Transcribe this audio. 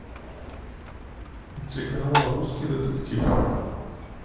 телеканал русский детектив